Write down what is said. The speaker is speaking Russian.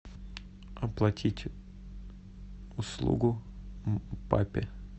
оплатить услугу папе